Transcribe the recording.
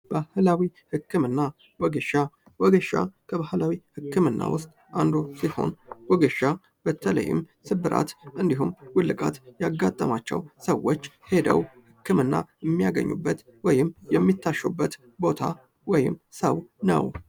ባህላዊ ህክምና፦ ወጌሻ፦ ወጌሻ ከባህላዊ ህክምና መካክል አንዱ ሲሆን ወጌሻ በተለይም ስብራት እንዲህም ውልቃት ያጋጠማቸው ሰዎች ሂደው ህክምና የሚጋኙበት ወይም የሚያሹበት ቦታ ወይም ሰው ነው።